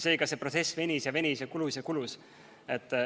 Seega see protsess venis ja venis, kulus ja kulus.